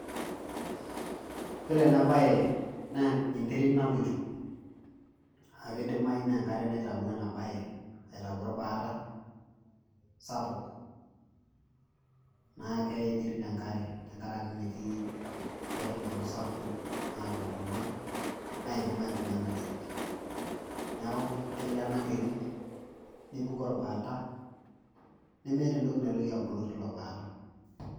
Iyiolo eena baye naa enkare naloito. Niaku keidimayu naa enkare naitawuo eena baye, aitau orbaata sapuk. Niaku keeya enterit enkare tentiaraki metii inkaitubulu sapukin naata intona, naidim aibung'a eena terit. Niaku keelo eena terit nepuku orbaata, nemeeta entoki naitoki abulu teilo baata.